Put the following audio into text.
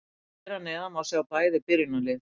Hér að neðan má sjá bæði byrjunarlið.